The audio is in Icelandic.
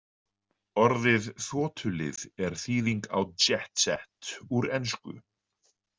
Orðið þotulið er þýðing á jet set úr ensku.